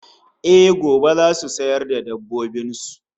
Eh, gobe zasu sayar da dabbobin su